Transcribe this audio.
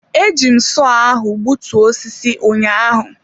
Eji m sọọ ahụ gbutuo osisi ụnyaahụ.